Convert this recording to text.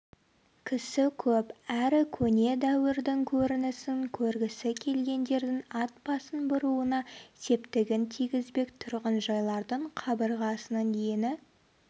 кісі көп әрі көне дәуірдің көрінісін көргісі келгендердің атбасын бұруына септігін тигізбек тұрғынжайлардың қабырғасының ені